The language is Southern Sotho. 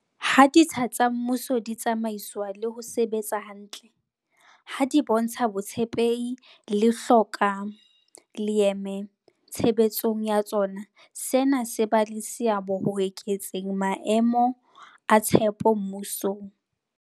Ha ditsha tsa mmuso di tsamaiswa le ho sebetsa hantle, ha di bontsha botshepehi le hloka leeme tshebetsong ya tsona, sena se ba le seabo ho eketseng maemo a tshepo mmusong.